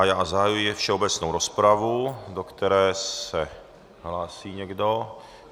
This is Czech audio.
A já zahajuji všeobecnou rozpravu, do které se hlásí někdo?